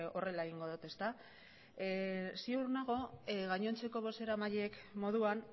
horrela egingo dot ezta ziur nago gainontzeko bozeramaileen moduan